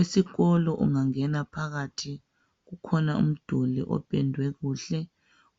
Esikolo ungangena phakathi kukhona umduli ophendwe kuhle